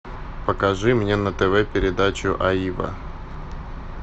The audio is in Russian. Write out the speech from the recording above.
покажи мне на тв передачу аива